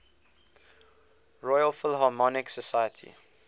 royal philharmonic society